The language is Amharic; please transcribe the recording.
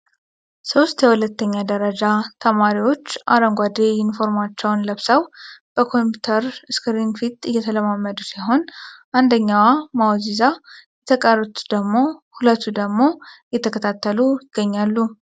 ሶስት የሁለተኛ ደረጃ ተማሪዎች አረንጓዴ ኢንፎርማቸውን ለብሰው ከኮምፒውተር እስክሪን ፊት እየተለማመዱ ሲሆን አንደኛዋ ማውዝ ይዛ የተቀሩት ሁለቱ ደግሞ እየተከታተሉ ይገኛሉ።